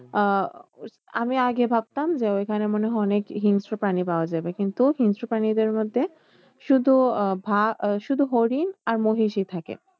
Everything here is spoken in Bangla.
আহ আমি আগে ভাবতাম ওইখানে মনে হয় অনেক হিংস্র প্রাণী পাওয়া যাবে কিন্তু হিংস্র প্রাণীদের মধ্যে শুধু আহ শুধু হরিণ আর মহিষই থাকে।